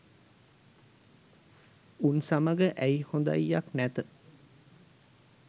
උන් සමග ඇයි හොදයියක් නැත